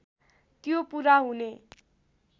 त्यो पुरा हुने